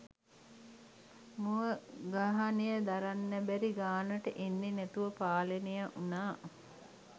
මුව ගහනය දරන්න බැරි ගානට එන්නෙ නැතුව පාලනය උනා.